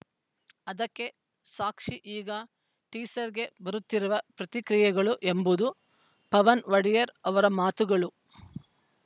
ಅದಕ್ಕೆ ಸಾಕ್ಷಿ ಈಗ ಟೀಸರ್‌ಗೆ ಬರುತ್ತಿರುವ ಪ್ರತಿಕ್ರಿಯೆಗಳು ಎಂಬುದು ಪವನ್‌ ಒಡೆಯರ್‌ ಅವರ ಮಾತುಗಳು